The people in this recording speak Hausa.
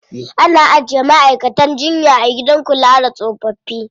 Ana ajiye ma'aikatan jinya a gidan kula da tsofaffi.